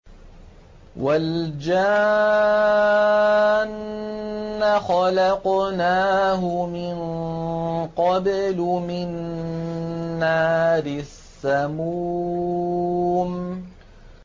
وَالْجَانَّ خَلَقْنَاهُ مِن قَبْلُ مِن نَّارِ السَّمُومِ